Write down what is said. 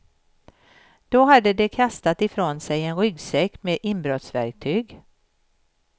Då hade de kastat ifrån sig en ryggsäck med inbrottsverktyg.